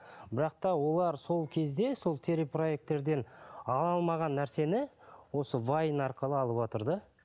бірақ та олар сол кезде сол телепроекттерден ала алмаған нәрсені осы вайн арқылы алыватыр да